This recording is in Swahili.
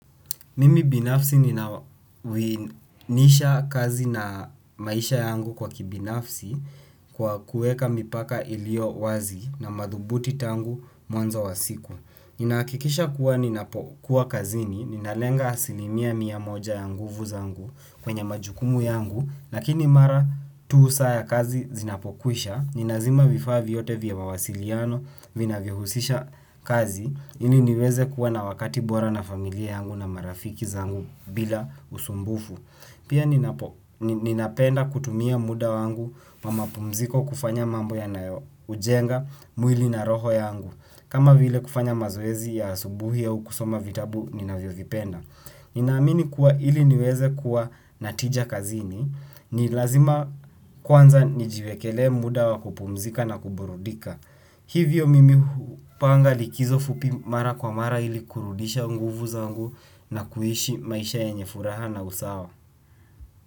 Mimi binafsi ninawiana kazi na maisha yangu kwa kibinafsi kwa kuweka mipaka iliyo wazi na madhubuti tangu mwanzo wa siku. Ninahakikisha kuwa ninapokuwa kazini, ninalenga asilimia mia moja ya nguvu zangu kwenye majukumu yangu, lakini mara tu saa za kazi zinapokwisha, ninazima vifaa vyote vya mawasiliano vinavyohusiana na kazi. Kazi, ili niweze kuwa na wakati bora na familia yangu na marafiki zangu bila usumbufu. Pia ninapenda kutumia muda wangu wa mapumziko kufanya mambo yanayojenga mwili na roho yangu, kama vile kufanya mazoezi ya asubuhi na kusoma vitabu ninavyovipenda. Ninaamini kuwa ili niweze kuwa na tija kazini, ni lazima kwanza nijiwekee muda wa kupumzika na kuburudika. Hivyo mimi hupanga likizo fupi mara kwa mara ili kurudisha nguvu zangu. Na kuishi maisha yenye furaha na usawa.